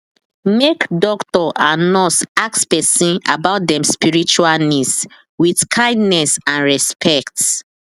make doctor and nurse ask person about dem spiritual needs with kindness and respect